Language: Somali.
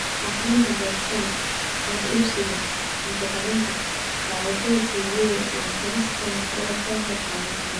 Akhrinta boostada, wax iibsiga, cunto karinta, daawashada TV-ga, iyo qorista waxay u ekaan kartaa mid adag.